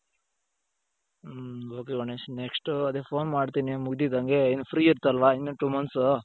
ಹ್ಮ್ ok Ganesh next ಅದೇ phone ಮಾಡ್ತೀನಿ ಮುಗ್ದಿದಂಗೆ ಇನ್ನು free ಇರುತ್ತಲ್ವ ಇನ್ನು two months?